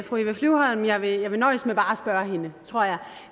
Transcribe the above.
fru eva flyvholm jeg vil jeg vil nøjes med bare at spørge hende tror jeg